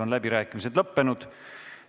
Läbirääkimised on lõppenud.